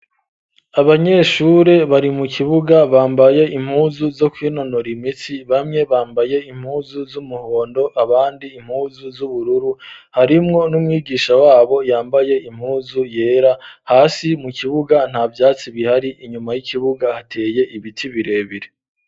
Abanyeshure bari mu kibuga bambaye impuzu zo kwinonora imitsi bamwe bambaye impuzu z'umuhondo abandi impuzu z'ubururu harimwo n'umwigisha wabo yambaye impuzu yera hasi mu kibuga nta byatsi bihari inyuma y'ikibuga hateye ibiti birebire.